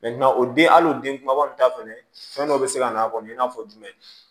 o den hali o den kumababa kɔni ta fɛnɛ fɛn dɔ be se ka na a kɔnɔ i n'a fɔ jumɛn